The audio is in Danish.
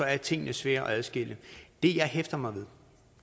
er tingene svære at adskille det jeg hæfter mig ved